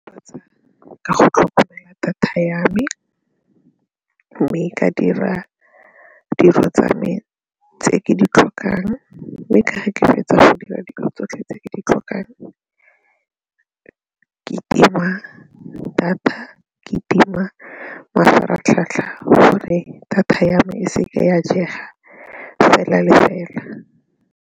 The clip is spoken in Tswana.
Ka go tlhokomela data ya me mme ka dira dilo tsa me tse ke di tlhokang mme fetsa go dira dilo tsotlhe tse ke di tlhokang ke tima data, ke tima mafaratlhatlha gore data ya me e seke ya jega fela le fela.